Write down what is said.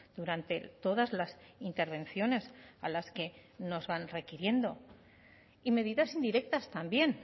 durante todas las intervenciones a las que no van requiriendo y medidas indirectas también